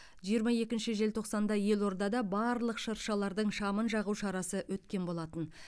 жиырма екінші желтоқсанда елордада барлық шыршалардың шамын жағу шарасы өткен болатын